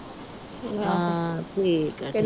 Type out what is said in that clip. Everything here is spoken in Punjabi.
ਆ ਠੀਕ ਆ।